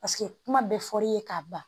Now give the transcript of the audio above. Paseke kuma bɛɛ fɔr'i ye k'a ban